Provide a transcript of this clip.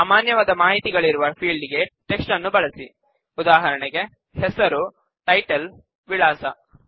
ಸಾಮಾನ್ಯವಾದ ಮಾಹಿತಿಗಳಿರುವ ಫೀಲ್ಡ್ ಗೆ ಟೆಕ್ಸ್ಟ್ ನ್ನು ಬಳಸಿಉದಾಹರಣೆಗೆ ಹೆಸರು ಟೈಟಲ್ ವಿಳಾಸ